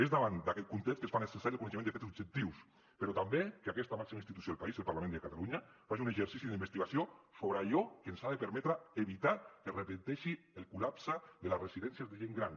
és davant d’aquest context que es fa necessari el coneixement de fets objectius però també que aquesta màxima institució del país el parlament de catalunya faci un exercici d’investigació sobre allò que ens ha de permetre evitar que es repeteixi el col·lapse de les residències de gent gran